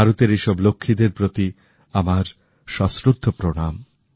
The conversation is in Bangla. ভারতের এই সব লক্ষ্মীদের প্রতি আমার সশ্রদ্ধ প্রণাম